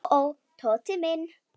Ó, ó, Tóti minn.